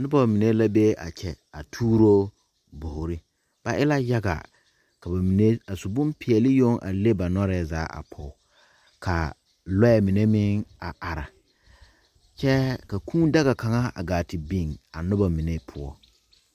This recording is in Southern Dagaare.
Noba mine la be a kyɛ tuuro bɔgre ka ba mine a su bompeɛle yoŋ a le ba nɔɛ zaa pɔge ka loɛ mine meŋ a are kyɛ ka kūū daga kaŋa wa gaa te biŋ a noba mine poɔ.